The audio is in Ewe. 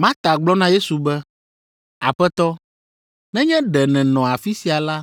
Marta gblɔ na Yesu be, “Aƒetɔ, nenye ɖe nènɔ afi sia la,